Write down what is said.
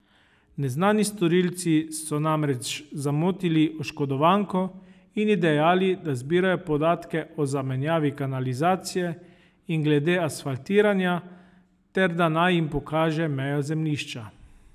Neznani storilci so namreč zamotili oškodovanko in ji dejali, da zbirajo podatke o zamenjavi kanalizacije in glede asfaltiranja ter da naj jim pokaže mejo zemljišča.